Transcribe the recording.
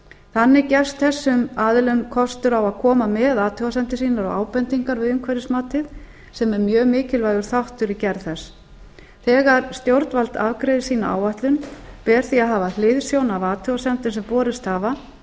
þannig gefst þessum aðilum kostur á að koma með athugasemdir sínar og ábendingar við umhverfismatið sem er mjög mikilvægur þáttur í gerð þess þegar stjórnvald afgreiðir sína áætlun ber því að hafa hliðsjón af athugasemdum sem borist hafa